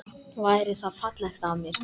Væri það fallegt af mér?